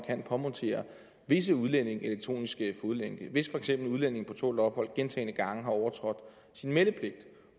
kan påmontere visse udlændinge elektronisk fodlænke for hvis en udlænding på tålt ophold gentagne gange har overtrådt sin meldepligt